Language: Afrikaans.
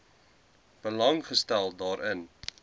belang gestel daarin